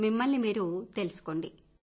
మిమ్మల్ని మీరు తెలుసుకోండి